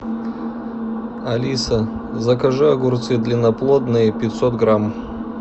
алиса закажи огурцы длинноплодные пятьсот грамм